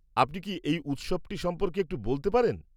আপনি কি এই উৎসবটি সম্পর্কে একটু বলতে পারেন?